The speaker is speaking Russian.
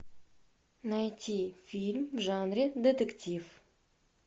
найти фильм в жанре детектив